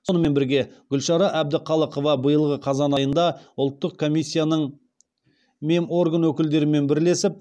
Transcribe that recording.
сонымен бірге гүлшара әбдіқалықова биылғы қазан айында ұлттық комиссияның меморган өкілдерімен бірлесіп